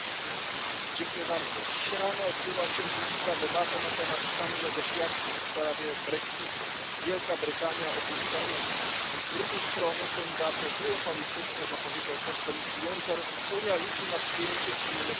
Panie Przewodniczący! Dziś rano odbyła się burzliwa debata na temat stanu negocjacji w sprawie brexitu. Wielka Brytania opuszcza Unię. Z drugiej strony, co niedawno triumfalnie zapowiedział szef Komisji Juncker, Unia liczy na przyjęcie innych krajów.